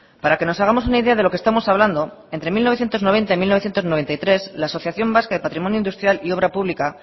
para que nos hagamos una idea de lo que estamos hablando entre mil novecientos noventa y mil novecientos noventa y tres la asociación vasca de patrimonio industrial y obra pública